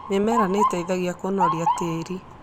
Mĩmera nĩ ĩteithagia kũnoria tĩĩri.